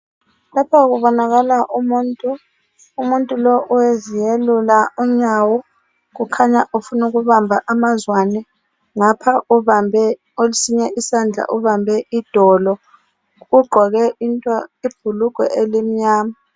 Lapha kubonakala umuntu. Umuntu lowu uyaziyelula unyawo kukhanya ufuna ukubamba amazwane ngapha kwesinye isandla ubambe idolo ugqoke ibhuluhwe elimnyama